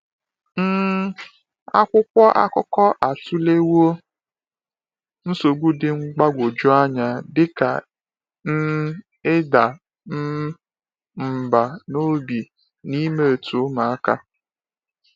um Akwụkwọ akụkọ atụlewo nsogbu dị mgbagwoju anya dị ka um ịda um mbà n’obi na mmetọ ụmụaka.